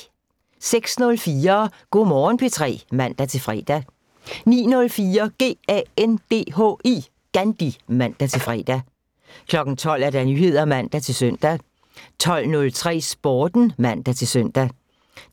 06:04: Go' Morgen P3 (man-fre) 09:04: GANDHI (man-fre) 12:00: Nyheder (man-søn) 12:03: Sporten (man-søn)